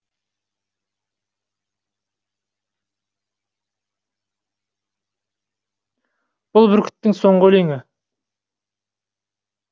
бұл бүркіттің соңғы өлеңі